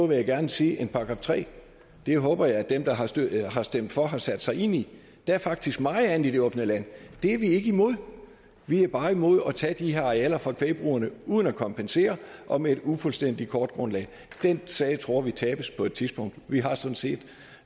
vil jeg gerne sige end § tredje det håber jeg at dem der har stemt har stemt for har sat sig ind i der er faktisk meget andet i det åbne land det er vi ikke imod vi er bare imod at tage de her arealer fra kvægbrugerne uden at kompensere og med et ufuldstændigt kortgrundlag den sag tror vi tabes på et tidspunkt vi har sådan set